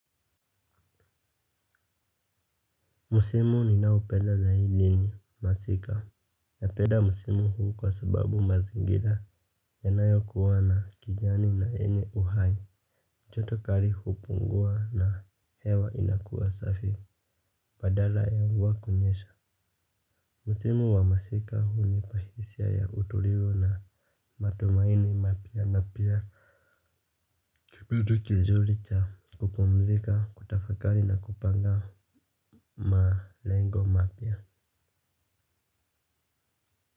Msimu ninaopenda zaidi ni masika napenda msimu huu kwa sababu mazingira yanayokuwa na kijani na yenye uhai joto kali hupungua na hewa inakuwa safi badala ya mvua kunyesha. Msimu wa masika hunipa hisia ya utulivu na matumaini mapya na pia kipindi kizuri cha kupumzika kutafakari na kupanga malengo mapya.